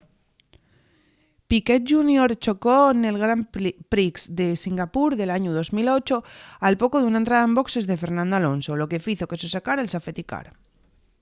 piquet jr chocó nel grand prix de singapur del añu 2008 al poco d’una entrada en boxes de fernando alonso lo que fizo que se sacara’l safety car